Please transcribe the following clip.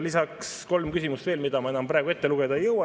Meil on veel kolm küsimust, mida ma praegu ette lugeda ei jõua.